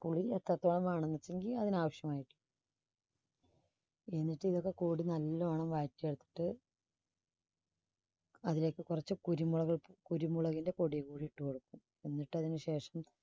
പുളി എത്രത്തോളം വേണമെന്ന് അതിനാവശ്യമായിട്ട് എന്നിട്ട് ഇതൊക്കെ കൂടി നല്ലോണം വഴറ്റി എടുത്തിട്ട് അതിലേക്ക് കുറച്ച് കുരുമുളക്~കുരുമുളകിന്റെ പൊടി കൂടി ഇട്ട് കൊടുക്കും എന്നിട്ട് അതിന് ശേഷം